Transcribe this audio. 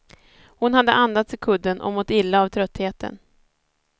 Hon hade andats i kudden och mått illa av tröttheten.